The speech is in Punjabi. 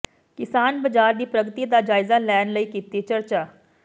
ਕਿਸਾਨ ਬਾਜ਼ਾਰ ਦੀ ਪ੍ਰਗਤੀ ਦਾ ਜਾਇਜ਼ਾ ਲੈਣ ਲਈ ਕੀਤੀ ਚਰਚਾ